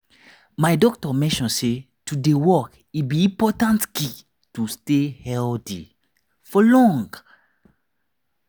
my doctor mention say to dey walk e be important key to stay healthy for long.